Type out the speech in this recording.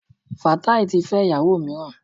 Fatai ti fẹ́ íyàwò mìíràn.